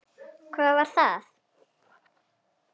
Hvað var það?